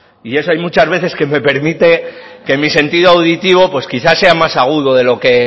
y eso hay muchas veces que me permite que mi sentido auditivo pues quizás sea más agudo de lo que